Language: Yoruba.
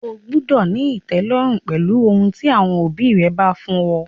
O gbúdọ̀ ní ìtẹ́lọ́rùn pẹ̀lú ohun tí àwọn òbí rẹ bá fún ọ!